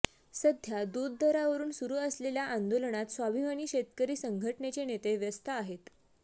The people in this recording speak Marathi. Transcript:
सध्या दूध दरावरून सुरू असलेल्या आंदोलनात स्वाभिमानी शेतकरी संघटनेचे नेते व्यस्त आहेत